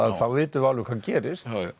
þá vitum við alveg hvað gerist